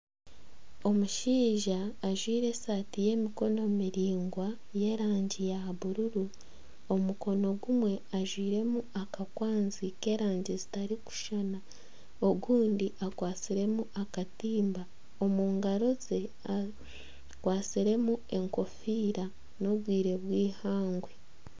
Omushaija ajwaire esaati y'emikono miraingwa y'erangi ya bururu om mukono gumwe ajwairemu akakwanzi k'erangi zitarikushuushana ogundi akwatsiremu akatimba omu ngaro ze akwatsiremu enkofiira n'obwire bw'eihangwe.